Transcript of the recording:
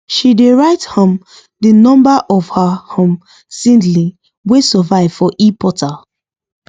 she dey write um the number of her um seedling wey survive for eportal